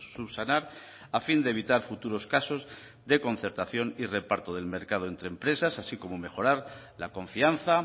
subsanar a fin de evitar futuros casos de concertación y reparto del mercado entre empresas así como mejorar la confianza